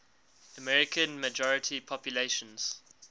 american majority populations